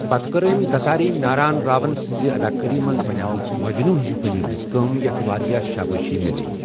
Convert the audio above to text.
پتہٕ کٔر أمۍ دساری ناران راوَن سٕنٛزِ ادا کٲری منٛز بنٛے مٕژ مجنو ہِش فلمَن منٛز کٲم، یَتھ واریٛاہ شابٲشی میٛلیٛیہ۔